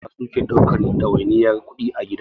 Yawan iyaye Maza suke ɗaukan ɗawainiyar kuɗi a gida.